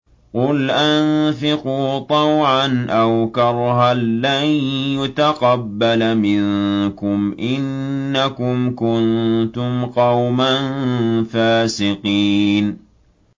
قُلْ أَنفِقُوا طَوْعًا أَوْ كَرْهًا لَّن يُتَقَبَّلَ مِنكُمْ ۖ إِنَّكُمْ كُنتُمْ قَوْمًا فَاسِقِينَ